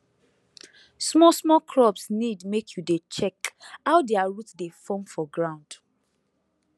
small small crops need make you dey check how their root dey form for ground